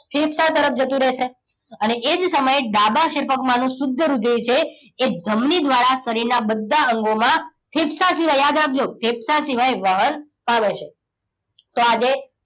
ફેફસા તરફ જતું રહેશે. અને એ જ સમયે ડાબા ક્ષેપક માનું શુદ્ધ રુધિર છે, એ ધમની દ્વારા શરીરના બધા અંગોમાં ફેફસા સિવાય યાદ રાખજો, ફેફસા સિવાય વહન પામે છે. તો આ જે